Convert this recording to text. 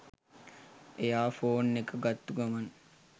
එයා ෆෝන් එක ගත්තු ගමන්